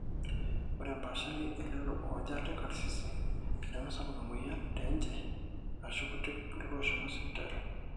ore empaashari elelo oojo ate karsisi nemesapuk emweyian teenje aashu kuti ilooshomo sipitali